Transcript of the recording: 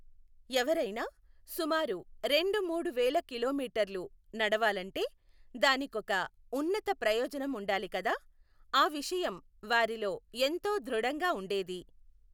ఎవరైనా సుమారు రెండు మూడు వేల కిలోమీటర్లు నడవాలంటే దానికొక ఉన్నత ప్రయోజనం ఉండాలి కదా, ఆ విషయం వారిలో ఎంతో ధృడంగా ఉండేది.